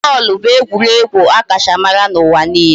Bọọlụ bụ egwuregwu a kacha mara n'ụwa niile